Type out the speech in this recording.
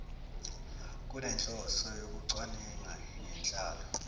kunenhloso yokucwaninga ngenhlalo